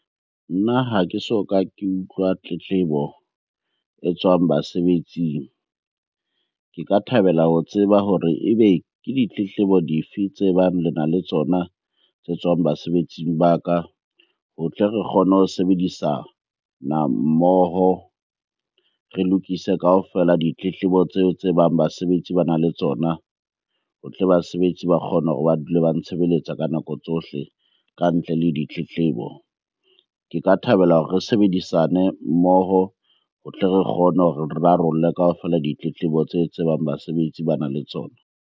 Nna ha ke soka ke utlwa tletlebo e tswang basebetsing. Ke ka thabela ho tseba hore ebe ke ditletlebo di fe tse bang lena le tsona tse tswang basebetsing ba ka ho tle re kgone ho sebedisana mmoho. Re lokise kaofela ditletlebo tseo tse bang basebetsi bana le tsona ho tle basebetsi ba kgone hore ba dule ba ntshebeletsa ka nako tsohle ka ntle le ditletlebo. Ke ka thabela hore re sebedisane mmoho ho tle re kgone hore re rarolle kaofela ditletlebo tseo tse bang basebetsi bana le tsona.